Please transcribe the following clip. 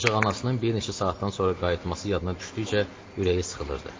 Ancaq anasının bir neçə saatdan sonra qayıtması yada düşdükcə ürəyi sıxılırdı.